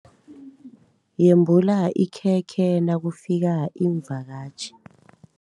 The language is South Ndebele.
Yembula ikhekhe nakufika iimvakatjhi.